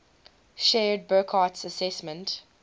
shared burckhardt's assessment